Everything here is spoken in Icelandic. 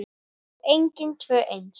Og engin tvö eins.